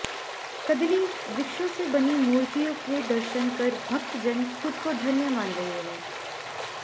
कदली वृक्षों से बनी मूर्तियों के दर्शन कर भक्तजन खुद को धन्य मान रहे है